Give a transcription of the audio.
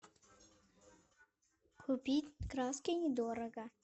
купить краски недорого